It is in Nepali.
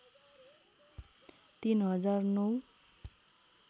३ हजार ९